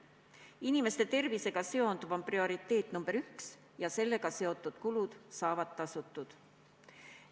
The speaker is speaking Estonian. Inimeste tervisega seonduv on prioriteet number üks ja sellega seotud kulud saavad tasutud.